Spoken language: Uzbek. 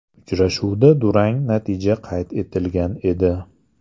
Uchrashuvda durang natija qayd etilgan edi.